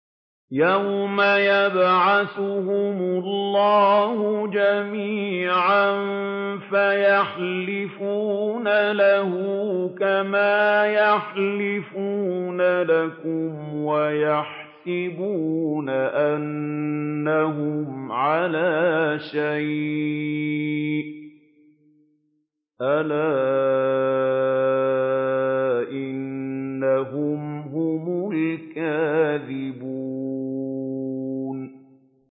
يَوْمَ يَبْعَثُهُمُ اللَّهُ جَمِيعًا فَيَحْلِفُونَ لَهُ كَمَا يَحْلِفُونَ لَكُمْ ۖ وَيَحْسَبُونَ أَنَّهُمْ عَلَىٰ شَيْءٍ ۚ أَلَا إِنَّهُمْ هُمُ الْكَاذِبُونَ